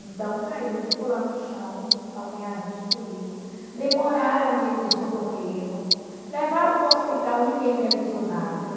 Então caiu, ficou lá no chão com os calcanhares destruído, demoraram de de socorrê-lo, levaram para o hospital, ninguém me avisou nada.